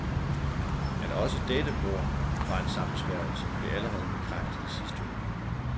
At også dette mord var en sammensværgelse, blev allerede bekræftet i sidste uge.